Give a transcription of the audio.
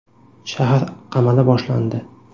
Shahar qamali boshlandi.